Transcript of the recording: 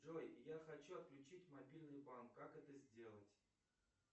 джой я хочу отключить мобильный банк как это сделать